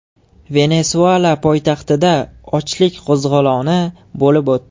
Venesuela poytaxtida ochlik qo‘zg‘oloni bo‘lib o‘tdi .